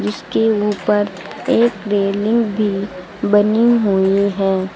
इसके ऊपर एक रेलिंग भी बनी हुई है।